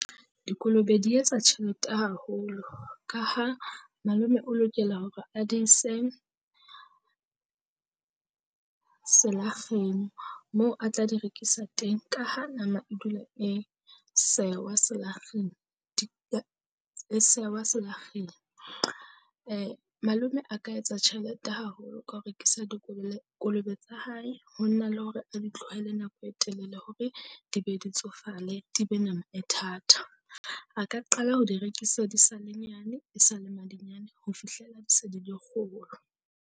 Dikolobe di etsa tjhelete haholo ka ha malome o lokela hore a di ise selakgeng moo a tla di rekisa teng. Ka ha nama e dula e sewa selakgeng e sewa selakgeng, malome a ka etsa tjhelete haholo ka ho rekisa Kolobe tsa hae ho nna le hore a di tlohele nako e telele hore di be di tsofale di be nama e thata. A ka qala ho di rekisa di sa le nyane e sa le madinyane ho fihlela di se di le kgolo.